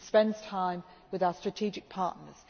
He spends time with our strategic partners.